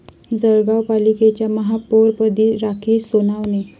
जळगाव पालिकेच्या महापौरपदी राखी सोनावणे